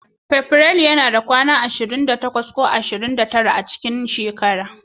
Fabrairu yana da kwana ashirin da takwas ko da ashirin da tara a cikin shekara.